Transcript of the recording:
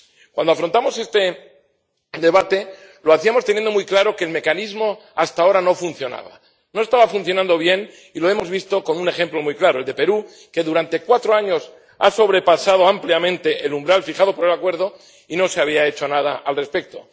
Cuando afrontamos este debate lo hacíamos teniendo muy claro que el mecanismo hasta ahora no funcionaba. No estaba funcionando bien y lo hemos visto con un ejemplo muy claro, el de Perú, que durante cuatro años ha sobrepasado ampliamente el umbral fijado por el acuerdo y no se había hecho nada al respecto.